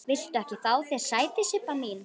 Viltu ekki fá þér sæti, Sibba mín?